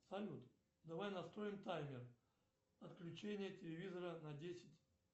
салют давай настроим таймер отключение телевизора на десять